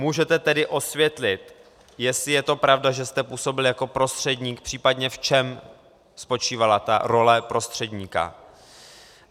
Můžete tedy osvětlit, jestli je to pravda, že jste působil jako prostředník, případně v čem spočívala ta role prostředníka?